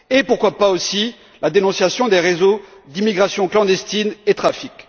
Pourquoi pas, aussi, la dénonciation des réseaux d'immigration clandestine et des trafics?